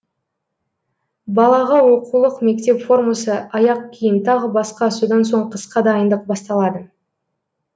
балаға оқулық мектеп формасы аяқ киім тағы баска содан соң қысқа дайындық басталады